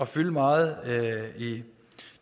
fylde meget i